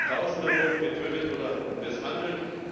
Tausende wurden getötet oder misshandelt!